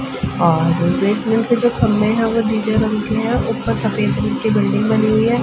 और पे जो खम्भे है वो नीले रंग के है और ऊपर सफ़ेद रंग की बिल्डिंग बनी हुई है।